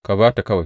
Ka ba ta kawai!